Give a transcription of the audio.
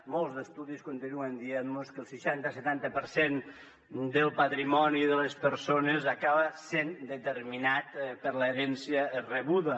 molts estudis continuen dient mos que el seixanta setanta per cent del patrimoni de les persones acaba sent determinat per l’herència rebuda